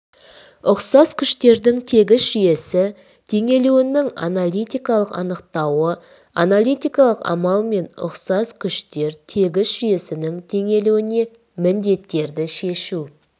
ұқсас күштердің тегіс жүйесі теңелуінің аналитикалық анықтауы аналитикалық амалмен ұқсас күштер тегіс жүйесінің теңелуіне міндеттерді шешу